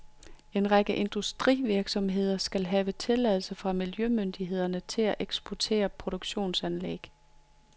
En række industrivirksomheder skal have tilladelse fra miljømyndighederne til at eksportere produktionsanlæg.